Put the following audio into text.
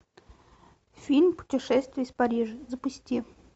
фильм путешествие из парижа запусти